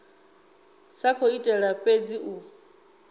sa khou itela fhedzi u